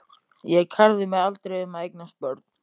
Ég kærði mig aldrei um að eignast börn.